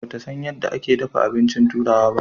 Ba ta san yadda ake dafa abinci turawa.